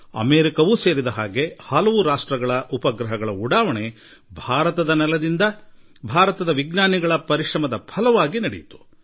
America ಸೇರಿದಂತೆ ಅನೇಕ ದೇಶಗಳ ಉಪಗ್ರಹ ಉಡಾವಣೆಯನ್ನು ನಮ್ಮ ವಿಜ್ಞಾನಿಗಳು ಭಾರತದ ನೆಲದಿಂದ ಮಾಡಿದ್ದಾರೆ